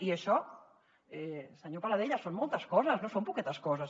i això senyor paladella són moltes coses no són poquetes coses